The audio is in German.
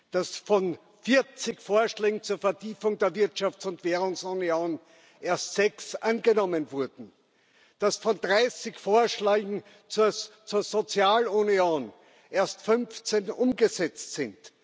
dass von 40 Vorschlägen zur Vertiefung der Wirtschafts und Währungsunion erst sechs angenommen wurden, dass von 30 Vorschlägen zur Sozialunion erst 15 umgesetzt sind?